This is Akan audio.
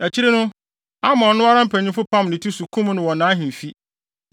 Akyiri no, Amon no ara mpanyimfo pam ne ti so, kum no wɔ nʼahemfi.